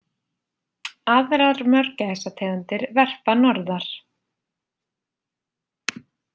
Aðrar mörgæsategundir verpa norðar.